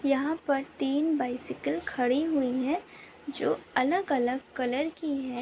यहाँ पे तीन बाइसिकल खड़ी हुई है जो अलग अलग कलर की है।